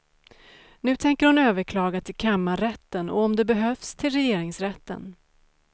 Nu tänker hon överklaga till kammarrätten och om det behövs till regeringsrätten.